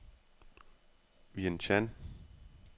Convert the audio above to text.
Vientianne